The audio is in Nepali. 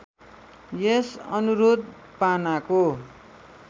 यस अनुरोध पानाको